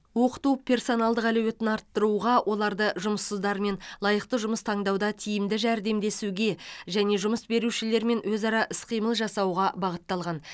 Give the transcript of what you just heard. оқыту персоналдың әлеуетін арттыруға оларды жұмыссыздармен лайықты жұмыс таңдауда тиімді жәрдемдесуге және жұмыс берушілермен өзара іс қимыл жасауға бағытталған